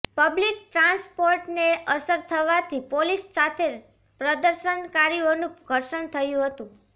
public ટ્રાન્સપોર્ટને અસર થવાથી પોલીસ સાથે પ્રદર્શનકારીઓનું ઘર્ષણ થયું હતું